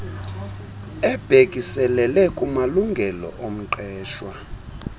ebhekiselele kumalungelo omqeshwa